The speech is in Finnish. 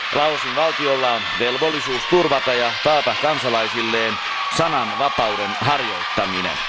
Laosin valtiolla on velvollisuus turvata ja taata kansalaisilleen sananvapauden harjoittaminen.